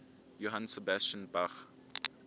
johann sebastian bach